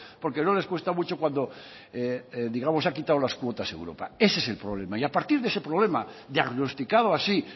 porque no les cuesta mucho cuando digamos ha quitado las cuotas europa ese es el problema y a partir de ese problemas diagnosticado así